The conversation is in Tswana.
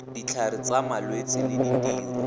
ditlhare tsa malwetse le ditiro